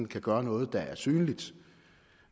kan gøre noget der er synligt